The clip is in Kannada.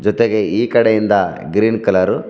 ದಗೆ ಈ ಇಂದ ಗ್ರೀನ್ ಕಲರ್ .